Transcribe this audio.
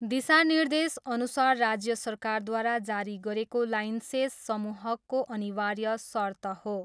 दिशानिर्देशअनुसार राज्य सरकारद्वारा जारी गरिएको लाइन्सेस समूहकको अनिवार्य सर्त हो।